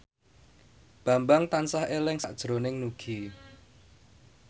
Bambang tansah eling sakjroning Nugie